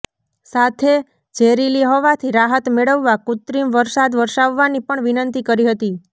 સાથે ઝેરીલી હવાથી રાહત મેળવવા કૃત્રિમ વરસાદ વરસાવવાની પણ વિનંતી કરી હતી